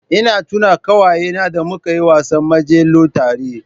Ina tuna ƙawayena da muka yi wasan majelo tare